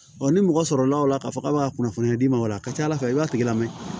ni mɔgɔ sɔrɔla o la k'a fɔ k'a bɛ ka kunnafoniya d'i ma o la a ka ca ala fɛ i b'a tigi lamɛn